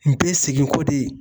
N bɛ segin ko de.